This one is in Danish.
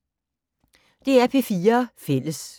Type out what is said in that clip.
DR P4 Fælles